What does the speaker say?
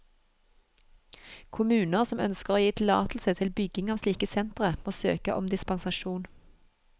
Kommuner som ønsker å gi tillatelse til bygging av slike sentre, må søke om dispensasjon.